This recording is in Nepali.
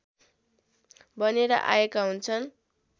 बनेर आएका हुन्छन्